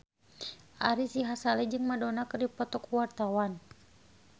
Ari Sihasale jeung Madonna keur dipoto ku wartawan